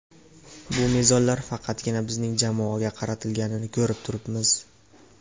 Bu mezonlar faqatgina bizning jamoaga qaratilganini ko‘rib turibmiz.